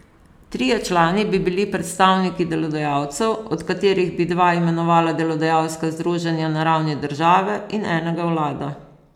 Trije člani bi bili predstavniki delodajalcev, od katerih bi dva imenovala delodajalska združenja na ravni države in enega vlada.